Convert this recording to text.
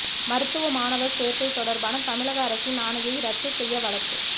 மருத்துவ மாணவர் சேர்க்கை தொடர்பான தமிழக அரசின் ஆணையை ரத்து செய்ய வழக்கு